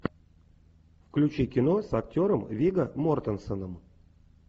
включи кино с актером вигго мортенсеном